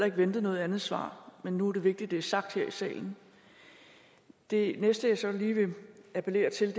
ikke ventet noget andet svar men nu er det vigtigt at det er sagt her i salen det næste jeg så lige vil appellere til